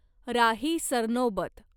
Rahi Sarnobat